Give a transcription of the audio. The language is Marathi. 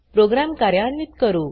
प्रोग्राम कार्यान्वीत करू